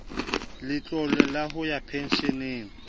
letlole la ho ya pensheneng